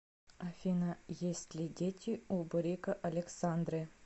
афина есть ли дети у бурико александры